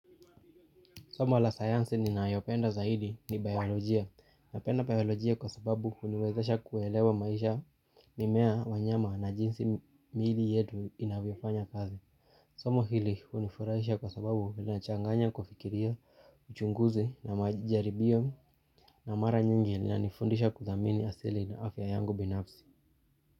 Somo la sayansi ninayopenda zaidi ni biolojia. Napenda biolojia kwa sababu uniwezesha kuelewa maisha mimea wanyama na jinsi miili yetu inavyofanya kazi. Somo hili hunifurahisha kwa sababu linachanganya kufikiria, uchunguzi na majaribio na mara nyingi inanifundisha kudhamini asili na afya yangu binafsi.